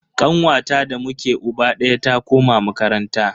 Kanwata da muke uba daya ta koma makaranta.